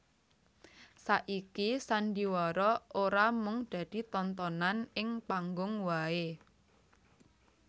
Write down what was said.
Saiki sandhiwara ora mung dadi tontonan ing panggung wae